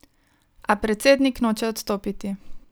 A predsednik noče odstopiti.